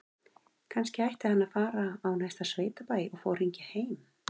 Kannski ætti hann að fara á næsta sveitabæ og fá að hringja heim?